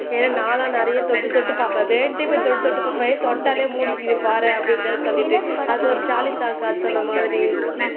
ஏன் நானெல்லாம் நிறையா தொட்டு தொட்டு பார்ப்பேன் வேணும்னட்டே போய் தொட்டு தொட்டு பார்ப்பேன் தொட்டாலே மூடிக்கிது பாறே அப்படி இப்படின்னு சொல்லிட்டு அது ஒரு ஜாலி தான் அக்கா சொன்ன மாதிரி